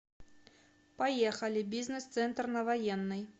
поехали бизнес центр на военной